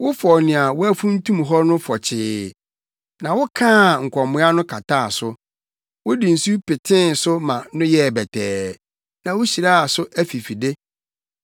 Wofɔw nea woafuntum hɔ no fɔkyee na wokaa nkɔmoa no kataa so; wode nsu petee so ma no yɛɛ bɛtɛɛ na wuhyiraa so afifide.